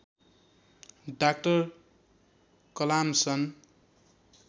doctor Kalam सन्